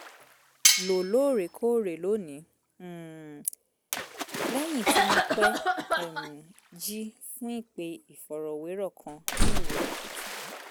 lò lóòrèkóòrè lónìí um lẹ́yìn tí mo pẹ́ um jí fún ìpè ìfọ̀rọ̀wérọ̀ kan ní òwúrọ̀ kùtù